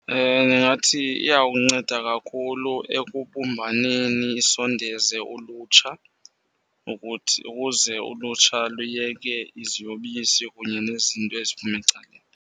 Ndingathi iyawunceda kakhulu ekubumbaneni isondeze ulutsha ukuthi, ukuze ulutsha luyeke iziyobisi kunye nezinto eziphume ecaleni.